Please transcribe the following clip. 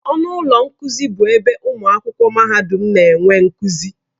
Ọnụ ụlọ nkuzi bụ ebe ụmụ akwụkwọ mahadum na-enwe nkuzi.